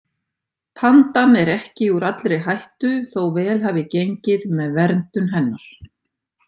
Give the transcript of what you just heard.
Pandan er ekki úr allri hættu þó vel hafi gengið með verndun hennar.